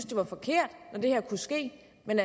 det var forkert at det her kunne ske men